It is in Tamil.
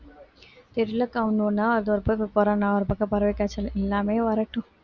தெரியல அக்கா ஒண்ணு ஒண்ணா அது ஒரு பக்கம் இப்ப corona ஒரு பக்கம் பறவை காய்ச்சல் எல்லாமே வரட்டும்